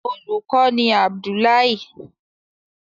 Olùkó ni Abdullahi.